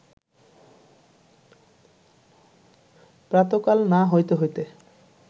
প্রাতঃকাল না হইতে হইতে